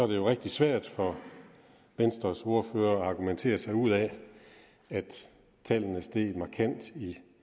det jo rigtig svært for venstres ordfører at argumentere sig ud af at tallene er steget markant